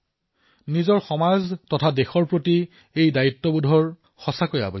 নিজৰ সমাজ নিজৰ দেশৰ প্ৰতি এই দায়িত্ব পালন কৰাটো অতিশয় আৱশ্যকীয়